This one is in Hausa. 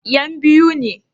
Yan biu ne?